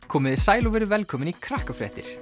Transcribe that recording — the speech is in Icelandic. komiði sæl og verið velkomin í